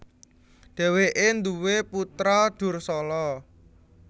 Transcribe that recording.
Dhèwèké nduwé putra Dursala